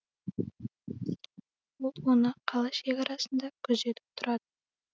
ол оны қала шекарасында күзетіп тұрады